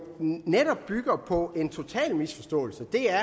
netop bygger på en total misforståelse det er